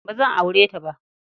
Ba zan aure ta ba.